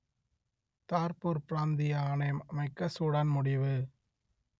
Darfur பிராந்திய ஆணையம் அமைக்க சூடான் முடிவு